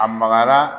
A magara